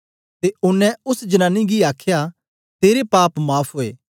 ते ओनें ओस जनानी गी आखया तेरे पाप माफ़ ओए